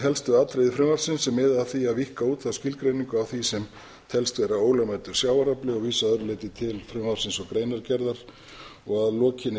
helstu atriði frumvarpsins sem miða að því að víkka út þá skilgreiningu á því sem telst vera ólögmætur sjávarafli og vísa að öðru leyti til frumvarpsins og greinargerðar að lokinni